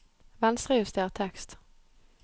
Venstrejuster tekst